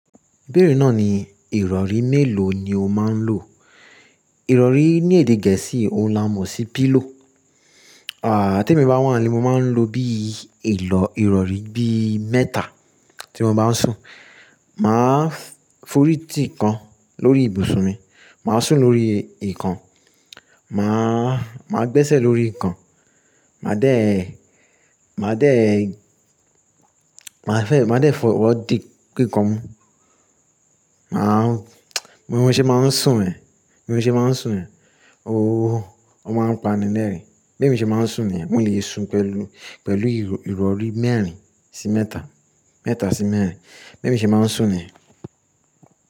Ìbẹ́ẹ̀rẹ̀ náà ni ìrọ̀rí mélòó ni o máa ń lò? Ìrọ̀rí ní èdè Gẹ̀ẹ́sì óńi ámo sí pillow. Tí èmi bá wà nílé, mo máa ń lo bí ìrọ̀rí bí mẹ́ta tí mo bá ń sùn. Màá fọ́rí tì kan lórí ibùsùn mi, màá sùn lórí ìkan, màá gbẹ́sẹ̀ lórí ìkan, màá dé fọwọ́ dí kíkàn. Bí mo ṣe máa ń sùn ẹ, bí mo ṣe máa ń sùn ẹ, ó máa ń pani lẹ́ẹ̀rín. Bí èmi ṣe máa ń sùn ni yen, èmi le sùn pẹ̀lú, pẹ̀lú ìrọ̀rí mẹ́rin sí mẹ́ta, mẹ́ta sí mẹ́rin. Bí èmi ṣe máa ń sùn ni.